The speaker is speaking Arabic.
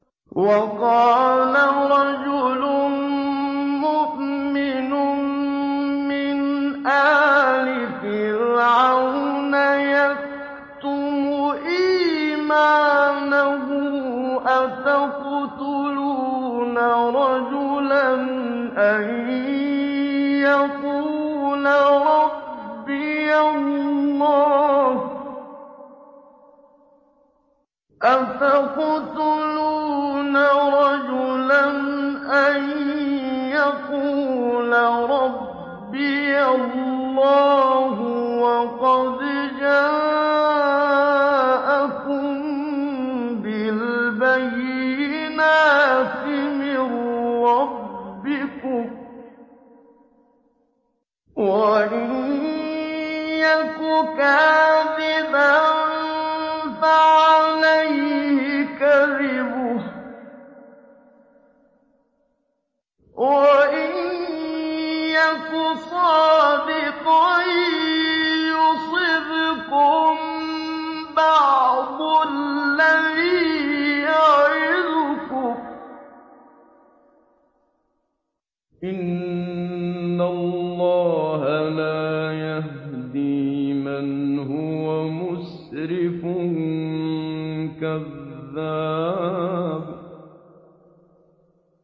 وَقَالَ رَجُلٌ مُّؤْمِنٌ مِّنْ آلِ فِرْعَوْنَ يَكْتُمُ إِيمَانَهُ أَتَقْتُلُونَ رَجُلًا أَن يَقُولَ رَبِّيَ اللَّهُ وَقَدْ جَاءَكُم بِالْبَيِّنَاتِ مِن رَّبِّكُمْ ۖ وَإِن يَكُ كَاذِبًا فَعَلَيْهِ كَذِبُهُ ۖ وَإِن يَكُ صَادِقًا يُصِبْكُم بَعْضُ الَّذِي يَعِدُكُمْ ۖ إِنَّ اللَّهَ لَا يَهْدِي مَنْ هُوَ مُسْرِفٌ كَذَّابٌ